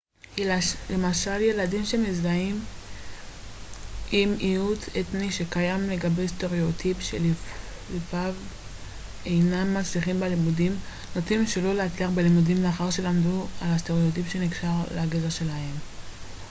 למשל ילדים שמזדהים עם מיעוט אתני שקיים לגביו סטראוטיפ שלפיו אינם מצליחים בלימודים נוטים שלא להצליח בלימודים לאחר שלמדו על הסטראוטיפ שנקשר לגזע שלהם